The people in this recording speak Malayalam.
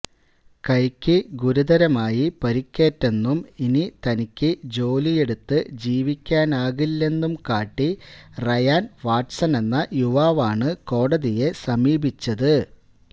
കൈയ്ക്ക് ഗുരുതരമായി പരിക്കേറ്റെന്നും ഇനി തനിക്ക് ജോലിയെടുത്ത് ജീവിക്കാനാകില്ലെന്നും കാട്ടി റയാൻ വാട്സെന്ന യുവാവാണ് കോടതിയെ സമീപിച്ചത്